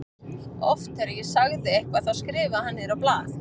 Oft þegar ég sagði eitthvað þá skrifaði hann niður á blað.